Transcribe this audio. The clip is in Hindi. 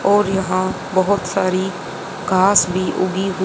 और यहां बहोत सारी कास भी उगी हु--